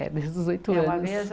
É, desde os oito anos. É uma mesa